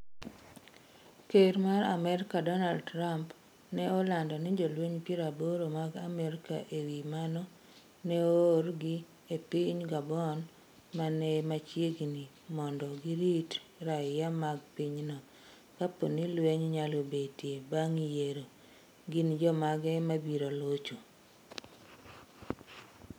Ker mar Amerka Donald Trump ne olando ni jolweny 80 mag Amerka E wi mano, ne oorgi e piny Gabon ma ne ni machiegni mondo girit raia mag pinyno kapo ni lweny nyalo betie bang ' yiero. Gin jomage ma biro locho?